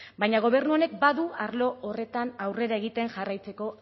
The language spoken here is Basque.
baina gobernuak badu arlo horretan aurrera egiten jarraitzeko